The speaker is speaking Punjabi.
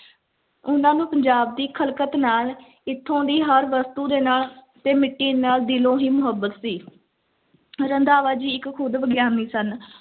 ਉਹਨਾਂ ਨੂੰ ਪੰਜਾਬ ਦੀ ਖ਼ਲਕਤ ਨਾਲ, ਇੱਥੋਂ ਦੀ ਹਰ ਵਸਤੂ ਦੇ ਨਾਲ ਤੇ ਮਿੱਟੀ ਨਾਲ ਦਿਲੋਂ ਹੀ ਮੁਹੱਬਤ ਸੀ ਰੰਧਾਵਾ ਜੀ ਇੱਕ ਖੁੱਦ ਵਿਗਿਆਨੀ ਸਨ।